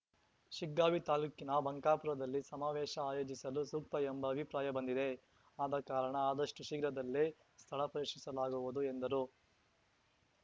ಶಿಗ್ಗಾವಿ ತಾಲೂಕಿನ ಬಂಕಾಪುರದಲ್ಲಿ ಸಮಾವೇಶ ಆಯೋಜಿಸಲು ಸೂಕ್ತ ಎಂಬ ಅಭಿಪ್ರಾಯ ಬಂದಿದೆ ಆದಕಾರಣ ಆದಷ್ಟುಶೀಘ್ರದಲ್ಲೇ ಸ್ಥಳ ಪರಿಶೀಲಿಸಲಾಗುವುದು ಎಂದರು